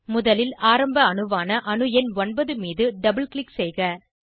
முதலில் ஆரம்ப அணுவான அணு எண் 9 மீது டபுள் க்ளிக் செய்க